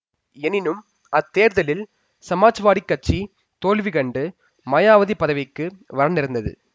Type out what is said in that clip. எனினும் அத்தேர்தலில் சமாஜ்வாடிக்கட்சி தோல்விகண்டு மாயாவதி பதவிக்கு வரநேர்ந்தது